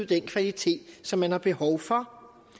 den kvalitet som man har behov for